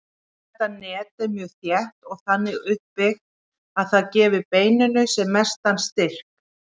Þetta net er mjög þétt og þannig uppbyggt að það gefi beininu sem mestan styrk.